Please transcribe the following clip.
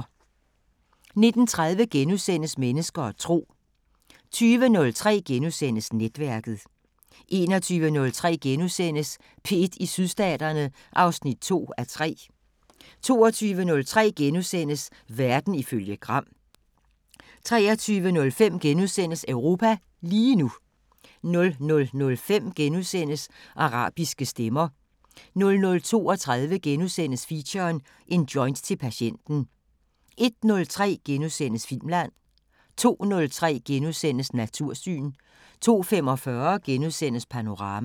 19:30: Mennesker og tro * 20:03: Netværket * 21:03: P1 i Sydstaterne (2:3)* 22:03: Verden ifølge Gram * 23:05: Europa lige nu * 00:05: Arabiske Stemmer * 00:32: Feature: En joint til patienten * 01:03: Filmland * 02:03: Natursyn * 02:45: Panorama *